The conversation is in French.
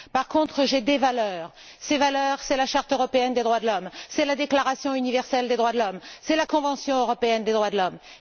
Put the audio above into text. Par contre, j'ai des valeurs. Ces valeurs, ce sont la charte européenne des droits de l'homme, la déclaration universelle des droits de l'homme et la convention européenne des droits de l'homme.